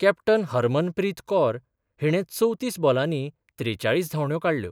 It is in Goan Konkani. कॅप्टन हरमन प्रीत कौर हीणे चवतीस बॉलानी त्रेचाळीस धावंड्यो काडल्यो.